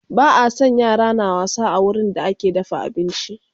Ba a San yara na wasa a wurin da ake dafa abinci